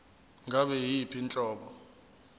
ngabe yiyiphi inhlobo